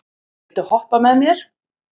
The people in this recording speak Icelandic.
Sælaugur, viltu hoppa með mér?